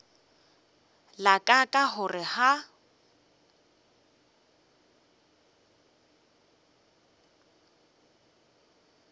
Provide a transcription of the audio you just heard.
la ka ka gore ga